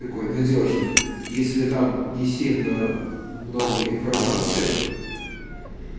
какой надёжный если там не сильно много информации